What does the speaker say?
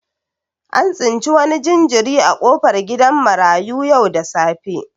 An tsinci wani jinjiri a kofar gidan marayu yau da safe.